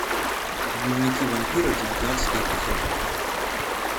дневники вампира девятнадцатый эпизод